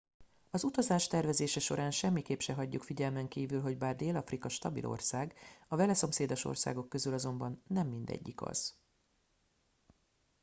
az utazás tervezése során semmiképp se hagyjuk figyelmen kívül hogy bár dél afrika stabil ország a vele szomszédos országok közül azonban nem mindegyik az